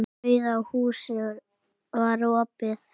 Rauða húsið var opið.